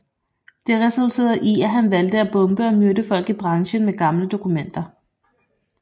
Det resulterede i at han valgte at bombe og myrde folk i branchen med gamle dokumenter